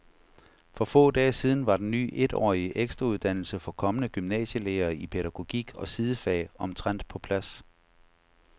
For få dage siden var den ny etårige ekstrauddannelse for kommende gymnasielærere i pædagogik og sidefag omtrent på plads.